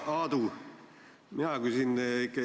Aitäh!